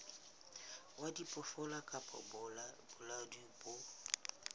wa diphoofolo kapa bolaodi bo